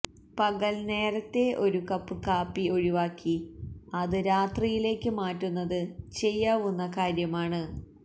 പകല് നേരത്തെ ഒരു കപ്പ് കാപ്പി ഒഴിവാക്കി അത് രാത്രിയിലേക്ക് മാറ്റുന്നത് ചെയ്യാവുന്ന കാര്യമാണ്